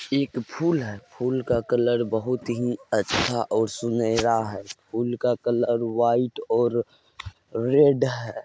एक फूल है। फूल का कलर बहुत ही अच्छा और सुनहरा है फूल का कलर वाईट और रेड है।